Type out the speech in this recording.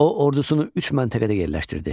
O ordusunu üç məntəqədə yerləşdirdi.